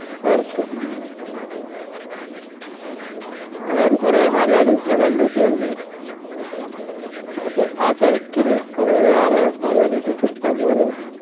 പൊറത് ഉം അതായത് കൊറേ മലയാളീസ് നെ കണ്ടുമുട്ടി അവിടന്നെ അ തെരക്കില് കൊറേ വേറെ മലയാളീസ് trip വന്നോരു